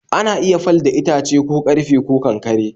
ana iya fal da itace ,ko karfe ko, Kankare